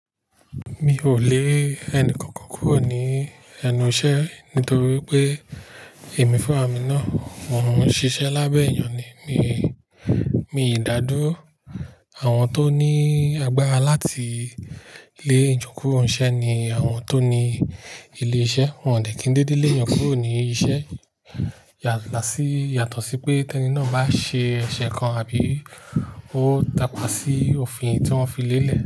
Mi ò lé ẹnìkankan kúrò ní ẹnu iṣẹ́ nítorí pé èmi fúnra mì náà. Mo n ṣíṣe lábẹ́ èèyàn ni, mi, mi dádúró àwọn tó ní agbára láti lé ijó kuró nṣẹ́ ni àwọn tó ní ilé-iṣẹ́. Wọn ò ní kí ń dédé lé èèyàn kúrò ní iṣẹ́ yàlá sí, yàtọ̀ sí pé tẹ́ní náà bá ṣe ẹ̀ṣẹ̀ kan àbí ó takasí òfin tí wọ́n fi lé e.